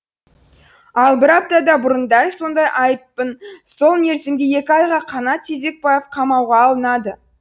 ал бір апта бұрын дәл сондай айыппын сол мерзімге екі айға қанат тезекбаев қамауға алынады